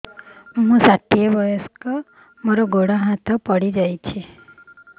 ମୁଁ ଷାଠିଏ ବୟସ୍କା ମୋର ଗୋଡ ହାତ ପଡିଯାଇଛି